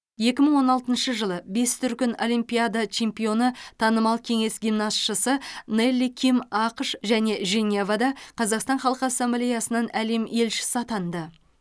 екі мың он алтыншы жылы бес дүркін олимпиада чемпионы танымал кеңес гимнастшысы нелли ким ақш және женевада қазақстан халқы ассамблеясынан әлем елшісі атанды